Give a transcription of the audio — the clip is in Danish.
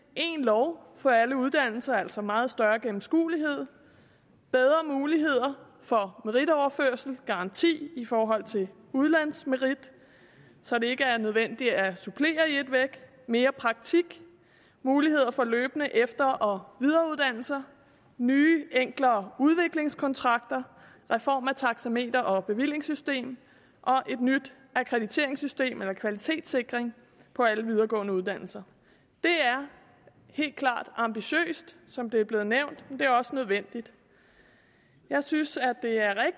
en lov for alle uddannelser altså meget større gennemskuelighed bedre muligheder for meritoverførsel garanti i forhold til udlandsmerit så det ikke er nødvendigt at supplere i et væk mere praktik muligheder for løbende efter og videreuddannelser nye enklere udviklingskontrakter reform af taxameter og bevillingssystem og et nyt akkrediteringssystem eller kvalitetssikring på alle videregående uddannelser det er helt klart ambitiøst som det er blevet nævnt men det er også nødvendigt jeg synes